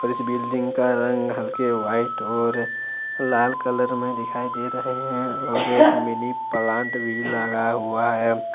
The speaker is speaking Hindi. इस बिल्डिंग का रंग हल्के व्हाइट और लाल कलर में दिखाई दे रहे हैं और मिनी प्लांट भी लगा हुआ है।